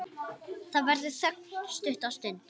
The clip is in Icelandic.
Það verður þögn stutta stund.